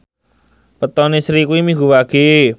wetone Sri kuwi Minggu Wage